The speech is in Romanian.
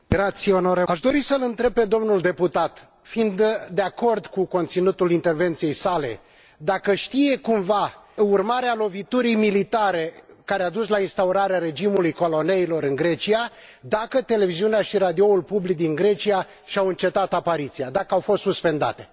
Aș dori să îl întreb pe domnul deputat fiind de acord cu conținutul intervenției sale dacă știe cumva, urmare a loviturii militare care a dus la instaurarea regimului coloneilor în Grecia, dacă Televiziunea și Radioul Public din Grecia și au încetat apariția, daca au fost suspendate?